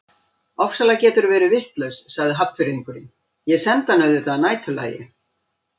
Ofsalega geturðu verið vitlaus sagði Hafnfirðingurinn, ég sendi hana auðvitað að næturlagi